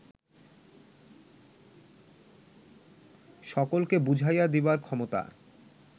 সকলকে বুঝাইয়া দিবার ক্ষমতা